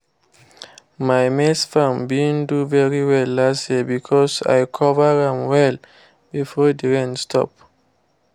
my maize farm been do very well last year because i cover am well before the rain stop